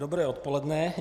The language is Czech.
Dobré odpoledne.